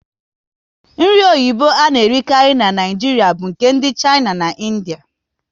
Nri oyibo a na erikari n'Naijiria bu nke ndị Shaina na Indiea